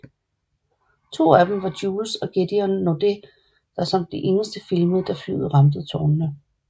To af dem var Jules og Gedeon Naudet der som de eneste filmede da flyet ramte tårnet